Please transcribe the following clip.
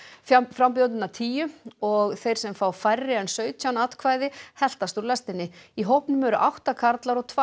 frambjóðendurna tíu og þeir sem fá færri en sautján atkvæði heltast úr lestinni í hópnum eru átta karlar og tvær